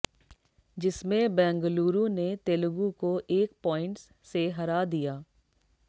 जिसमें बेंगलुरु ने तेलुगु को एक पॉइंट्स से हरा दिया